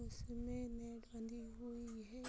उसमें नेट बंधी हुई है ।